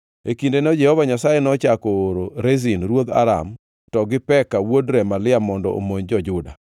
(E kindeno Jehova Nyasaye nochako oro Rezin ruodh Aram to gi Peka wuod Remalia mondo omonj jo-Juda.)